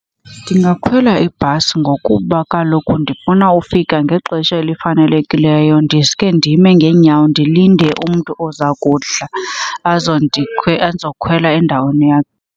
Ndingakhwela ibhasi ngokuba kaloku ndifuna ufika ngexesha elifanelekileyo. Ndisuke ndime ngeenyawo ndilinde umntu oza kuhla azokhwela endaweni yam.